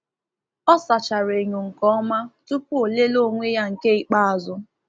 Ọ sachara enyo nke ọma tupu o lelee onwe ya nke ikpeazụ.